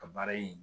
Ka baara yen